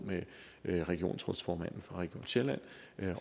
med regionsrådsformanden for region sjælland